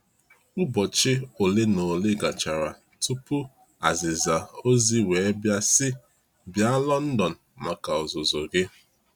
Ụbọchị ole na ole gachara tupu azịza ozi wee bia sị:bia London maka ọzụzụ gị!